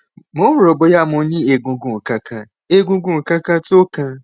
mo ń rò ó bóyá mo ní egungun kankan egungun kankan tó kán